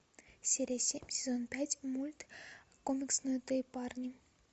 серия семь сезон пять мульт комикснутые парни